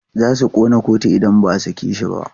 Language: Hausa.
Za su ƙona kotu idan ba a sake shi ba.